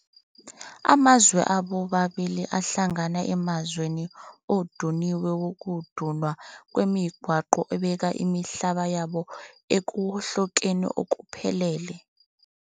Amazwe abo amabili ahlangana emzamweni oduniwe wokudunwa kwemigwaqo obeka imihlaba yabo ekuwohlokeni okuphelele.